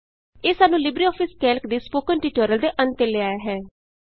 ਇਹ ਸਾਨੂੰ LibreOffice Calc ਦੇ ਸਪੋਕਨ ਟਿਯੂਟੋਰਿਅਲ ਦੇ ਅੰਤ ਤੇ ਲੈ ਆਇਆ ਹੈ